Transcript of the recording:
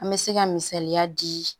An bɛ se ka misaliya di